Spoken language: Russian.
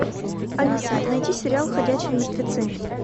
алиса найди сериал ходячие мертвецы